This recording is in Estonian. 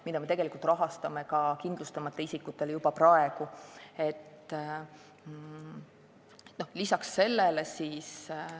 Kui tegu on ravikindlustuseta inimestega, siis me maksame selle kinni.